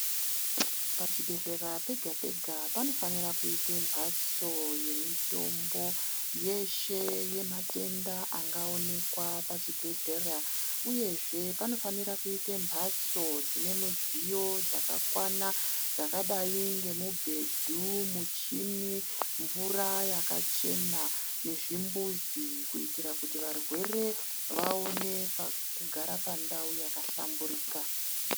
Pachibhedhleya pega pega panofanira kuite mbatso yemitombo yeshe yematenda anagaonekwa pachibhedhlera, uyezve panofanira kuite mbatso dzine dzidziyo dzakakwana , dzakadai nemibhebhu muchini, mvuraa yakachena nezvimbuzi kuitira kuti varwere vaone kugara pandau yakahlamburikaa.